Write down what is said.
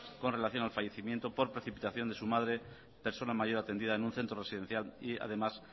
con relación al fallecimiento por precipitación de su madre persona mayor atendida en un centro residencial y además